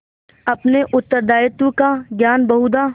अपने उत्तरदायित्व का ज्ञान बहुधा